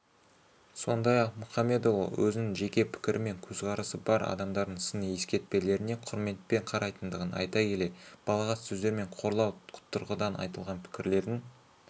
сондай-ақ мұхамедиұлы өзінің жеке пікірі мен көзқарасы бар адамдардың сыни-ескертпелеріне құрметпен қарайтындығын айта келе балағат сөздер мен қорлау тұрғыдан айтылған пікірлердің